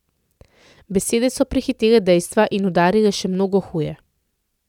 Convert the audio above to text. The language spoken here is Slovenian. Besede so prehitele dejstva in udarile še mnogo huje.